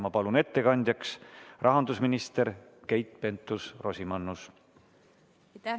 Ma palun ettekandjaks rahandusminister Keit Pentus-Rosimannuse!